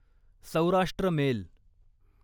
Saurashtra mail